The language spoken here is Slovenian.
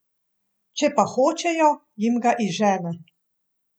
Če pa hočejo, jim ga izžene.